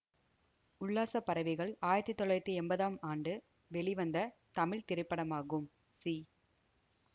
உல்லாசப்பறவைகள் ஆயிரத்தி தொள்ளாயிரத்தி எம்பதாம் ஆண்டு வெளிவந்த தமிழ் திரைப்படமாகும் சி